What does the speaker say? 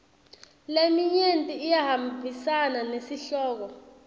leminyenti iyahambisana nesihloko